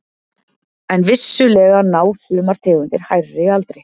En vissulega ná sumar tegundir hærri aldri.